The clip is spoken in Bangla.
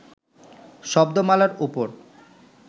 শব্দমালার উপর